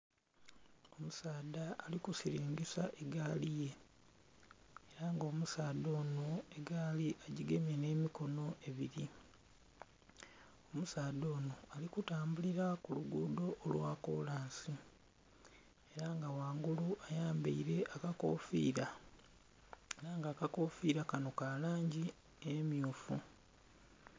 Omusadha ari kusilingisa egaali ye era nga omusadha ono egaali agyigemye ne mikono ebiri, omusadha ono ari kutambulira ku luguudo olwa kolansi era nga ghangulu ayambaire akakofiira era nga akakofiira kano ka langi emyuufu.